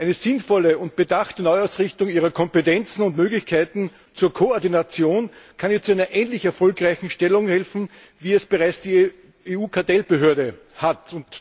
Eine sinnvolle und bedachte Neuausrichtung ihrer Kompetenzen und Möglichkeiten zur Koordination kann ihr zu einer ähnlich erfolgreichen Stellung verhelfen, wie sie die EU Kartellbehörde bereits hat.